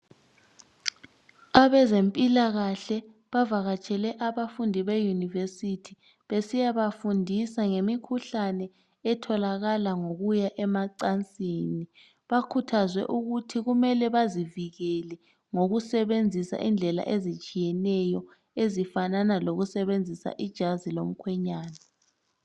Abezempilakahle bavakatshele abafundi beyunivesithu besiya bafundisa ngemikhuhlane etholakala ngokuya emacansini bakhuthazwe ukuthi kumele bazivikele ukusebenzisa indlela ezitshiyeneyo, ezifana lokusebenzisa ijazi lomkhwenyana.